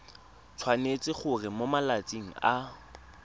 tshwanetse gore mo malatsing a